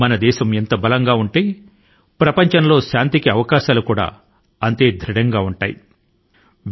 మన దేశం ఎంత బలం గా ఉంటే ప్రపంచం లో శాంతి యొక్క అవకాశాలు అంత బలపడతాయని కూడా మనం గుర్తు పెట్టుకోవాలి